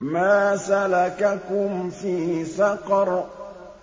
مَا سَلَكَكُمْ فِي سَقَرَ